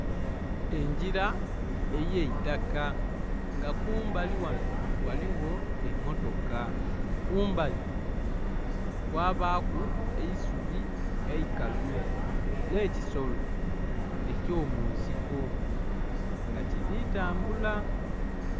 Engira ey'eitaka nga kumbali ghano ghaligho emmotoka. Kumbali kwabaaku eisubi eikalu, nh'ekisolo eky'omunsiko nga kili tambula.